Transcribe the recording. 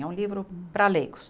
É um livro para leigos.